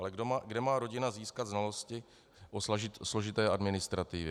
Ale kde má rodina získat znalosti o složité administrativě?